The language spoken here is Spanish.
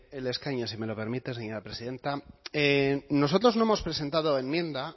desde el escaño si me lo permite señora presidenta nosotros no hemos presentado enmienda